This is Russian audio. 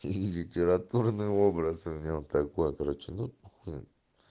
ии литературные образы в нем такой короче ну ты